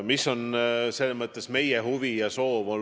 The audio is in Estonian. Millised on meie huvid ja soovid?